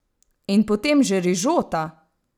In potem že rižota!